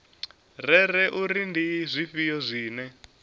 rere uri ndi zwifhio zwine